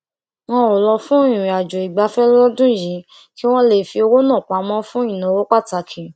wọn ò lọ fún ìrìnàjò ìgbafẹ lọdún yìí kí wón lè fi owó náà pamọ fún ìnáwó pàtàkì